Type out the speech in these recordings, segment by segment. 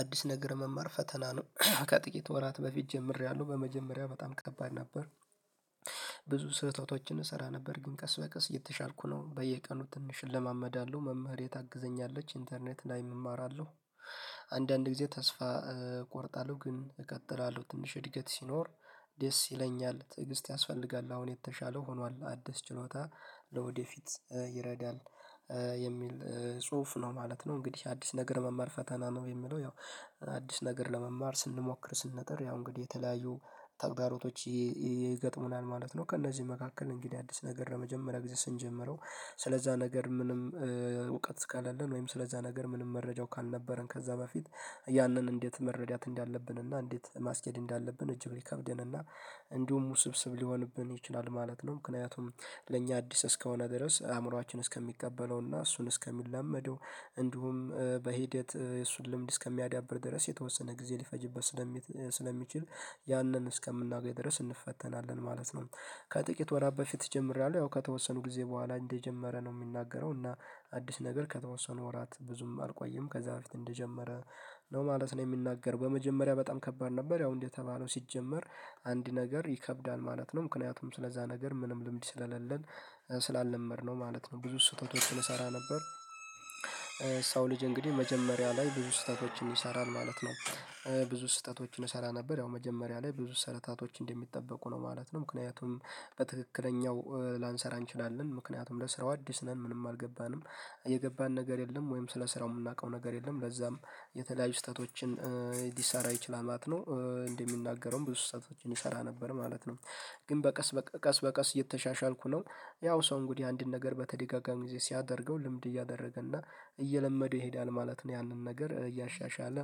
አዲስ ነገር መማር ፈተና ነው ከጥቂት ወራት በፊት ጀምሬያለሁ በመጀመሪያ በጣም ከባድ ነበር። ብዙ ስህተቶችን እሰራ ነበር ግን ቀስ በቀስ የተሻልኩ ነው በየቀኑ ትንሽ እለማመዳለው። መምህር ታግዘኛለች ኢንተርኔት ላይ እማራለው። አንዳንድ ጊዜ ተስፋ እቆርጣለሁ ግን እቀጥላለሁ ትንሽ እድገት ሲኖር ደስ ይለኛል። ትዕግስት ያስፈልጋል አሁን የተሻለ ሆኗል አደስ ችሎታ ለወደፊት ይረዳል የሚል ጽሁፍ ነው ማለት ነው እንግዲህ አዲስ ነገር መማር ፈተና ነው የሚለው ያው አዲስ ነገር ለመማር ስንሞክር ስንነጥር ያው እንግዲህ የተለያዩ ታግዳሮቶች ይገጥሙናል ማለት ነው ከእነዚህ መካከል እንግዲህ አዲስ ነገር ለመጀመሪያ ጊዜ ስንጀምረው ስለዛ ነገር ምንም እውቀት እስካሌለን ወይም ስለዛ ነገር ምንም መረጃው ካልነበረን ከዛ በፊት ያንን እንዴት መረዳት እንዳለብን እና እንዴት ማስኬድ እንዳለብን እጅግ ሊከብደን እና እንዲሁም ውስብስብ ሊሆንብን ይችላል ማለት ነው። ምክንያቱም ለእኛ አዲስ እስከሆነ ድረስ አእምሮአችን እስከሚቀበለውና እሱን እስከሚለመደው እንዲሁም በሂደት የእሱን ልምድ እስከሚያዳብር ድረስ የተወሰነ ጊዜ ሊፈጅበት ስለሚችል ያንን እስከምናገኝ ድረስ እንፈተናለን ማለት ነው። ከጥቂት ወራት በፊት ይጀምራሉ ያው ከተወሰኑ ጊዜ ቦኋላ እንደጀመረ ነው የሚናገረው እና አዲስ ነገር ከተወሰኑ ወራት ብዙም አልቆየም ከዛ በፊት እንደጀመረ ነው ማለት ነው የሚናገር በመጀመሪያ በጣም ከባድ ነበር ያው እንዴት የተባለው ሲጀመር አንድ ነገር ይከብዳል ማለት ነው። ምክንያቱም ስለዛ ነገር ምንም ልምድ ስለሌለን ስላልነመድነው ማለት ነው ብዙ ስጦታዎችን እሰራ ነበር። ሰው ልጅ እንግዲህ መጀመሪያ ላይ ብዙ ስህተቶችን ይሰራል ማለት ነው። ብዙ ስህተቶችን እሰራ ነበር ያው መጀመሪያ ላይ ብዙ ስህታቶች እንደሚጠበቁ ነው ማለት ነው። ምክንያቱም በትክክለኛው ላንሰራ እንችላለን ምክንያቱም ለስራው አዲስ ነን ምንም አልገባንም የገባን ነገር የለም ወይም ስለ ስራው የምናውቀው ነገር የለም ለዛም የተለያዩ ስህተቶችን ሊሰራ ይችላል ማለት ነው። እንደሚናገረውም ብዙ ስህተቶችን ይሰራ ነበር ማለት ነው። ግን በቀስ በቀስ በቀስ የተሻሻልኩ ነው ያው ሰው እንግዲህ አንድን ነገር በተደጋጋሚ ጊዜ ሲያደርገው ልምድ እያደረገ እና እየለመደው ይሄዳል ማለት ነው። ያንን ነገር እያሻሻለ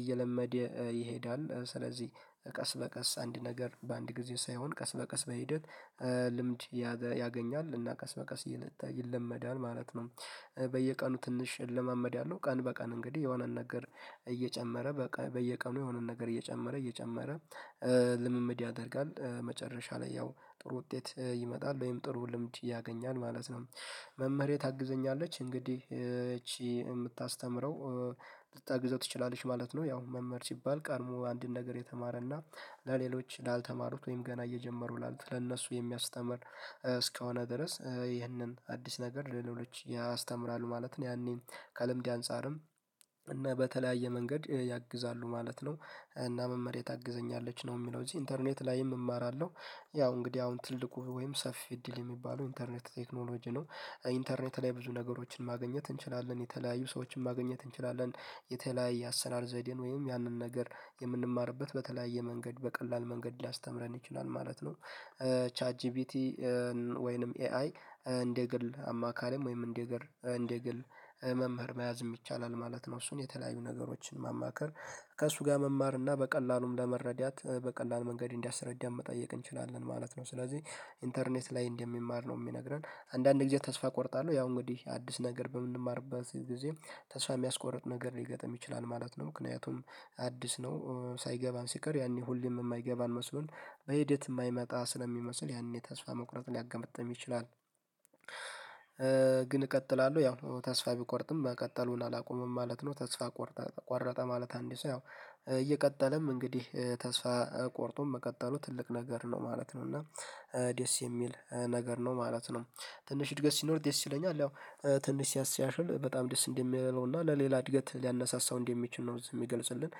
እየለመደ ይሄዳል ስለዚህ ቀስ በቀስ አንድ ነገር በአንድ ጊዜ ሳይሆን ቀስ በቀስ በሂደት ልምድ ያገኛል እና ቀስ በቀስ ይለመዳል ማለት ነው። በየቀኑ ትንሽ ለማመድ ያለው ቀን በቀን እንግዲህ የሆነን ነገር እየጨመረ በቃ በየቀኑ የሆነን ነገር እየጨመረ እየጨመረ ልምምድ ያደርጋል መጨረሻ ላይ ያው ጥሩ ውጤት ይመጣል ወይም ጥሩ ልምምድ ያገኛል ማለት ነው። መምህሬ ታግዘኛለች እንግዲህ እቺ የምታስተምረው ልታግዘው ትችላለች ማለት ነው ያው መምህር ሲባል ቀድሞ አንድን ነገር የተማረና ለሌሎች ላልተማሩት ወይም ገና እየጀመሩ ላሉት ለእነሱ የሚያስተምር እስከሆነ ድረስ ይህንን አዲስ ነገር ለሌሎች ያስተምራሉ ማለት ነው። ያኔን ከለምዴ አንፃርም እና በተለያየ መንገድ ያግዛሉ ማለት ነው እና መምህሬ ታግዘኛለች ነው የሚለው እዚህ ኢንተርኔት ላይም እማራለው። ያው እንግዲህ አሁን ትልቁ ወይም ሰፊ እድል የሚባለው ኢንተርኔት ቴክኖሎጂ ነው። ኢንተርኔት ላይ ብዙ ነገሮችን ማግኘት እንችላለን የተለያዩ ሰዎችን ማግኘት እንችላለን የተለያዩ አሰራር ዘዴን ወይም ያንን ነገር የምንማርበት በተለያየ መንገድ በቀላል መንገድ ሊያስተምረን ይችላል ማለት ነው። ቻት ጂቢቲ ወይንም ኤአይ እንደ ግል አማካሪም ወይም እንደ ግል እንደ ግል መምህር መያዝም ይቻላል ማለት ነው። እሱን የተለያዩ ነገሮችን ማማከር ከእሱ ጋር መማር እና በቀላሉም ለመረዳት በቀላሉ መንገድ እንዲያስረዳን መጠየቅ እንችላለን ማለት ነው ስለዚህ ኢንተርኔት ላይ እንደሚማር ነው የሚነግረን አንዳንድ ጊዜ ተስፋ እቆርጣለሁ ያው እንግዲህ አዲስ ነገር በምንማርበት ጊዜ ተስፋ የሚያስቆርጥ ነገር ሊገጥም ይችላል ማለት ነው። ምክንያቱም አዲስ ነው ሳይገባን ሲቀር ያኔ ሁሌም የማይገባን መስሎን በሂደት የማይመጣ ስለሚመስል ያኔ ተስፋ መቁረጥ ሊያገመጥም ይችላል። ግን እቀጥላለሁ ያው ተስፋ ቢቆርጥም መቀጠሉን አላቆምም ማለት ነው። ተስፋ ቆርጠህ ቆረጠ ማለት አንድ ሰው ያው እየቀጠለም እንግዲህ ተስፋ ቆርጦ መቀጠሉ ትልቅ ነገር ነው ማለት ነው እና ዴስ የሚል ነገር ነው ማለት ነው። ትንሽ እድገት ሲኖር ዴስ ይለኛል ያው ትንሽ ሲያሽል በጣም ደስ እንደሚለው እና ለሌላ እድገት ሊያነሳሳው እንዴ የሚችል ነው የሚገልጽልን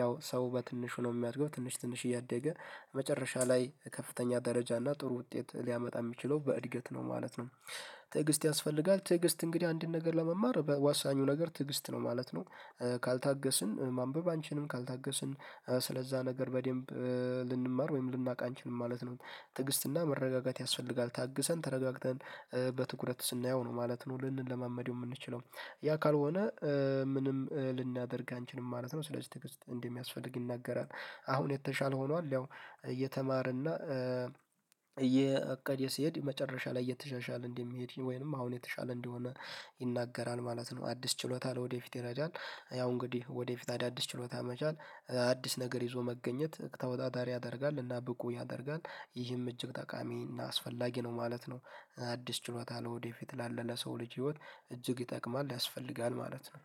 ያው ሰው በትንሽ ነው የሚያድገው ትንሽ ትንሽ እያደገ መጨረሻ ላይ ከፍተኛ ደረጃ እና ጥሩ ውጤት ሊያመጣ የሚችለው በእድገት ነው ማለት ነው። ትዕግስት ያስፈልጋል ትዕግስት እንግዲህ አንድን ነገር ለመማር በዋሳኙ ነገር ትዕግስት ነው ማለት ነው። ካልታገስን ማንበብ አንችልም ካልታገስን ስለዛ ነገር በደንብ ልንማር ወይም ልናቅ አንችልም ማለት ነው። ትዕግስትና መረጋጋት ያስፈልጋል ታግሰን ተረጋግተን በትኩረት ስናየው ነው ማለት ነው ልንለማመደው የምንችለው ያ ካልሆነ ምንም ልናደርግ አንችልም ማለት ነው ስለዚህ ትግስት እንደሚያስፈልግ ይናገራል አሁን የተሻለ ሆኗል ያው እየተማረና እየ የእቅድ የሰሄድ መጨረሻ ላይ እየተሻሻለ እንደሚሄድ ወይንም አሁን የተሻለ እንዲሆን ይናገራል ማለት ነው አዲስ ችሎታል ወደፊት ይረጃል ያው እንግዲህ ወደፊት አዳዲስ ችሎታ መቻል አዲስ ነገር ይዞ መገኘት ተወዳዳሪ ያደርጋል እና ብቁ ያደርጋል ይህም እጅግ ጠቃሚ እና አስፈላጊ ነው ማለት ነው። አዲስ ችሎታ ነው ወደፊት ላለ ለሰው ልጅ ህይወት እጅግ ይጠቅማል ያስፈልጋል ማለት ነው።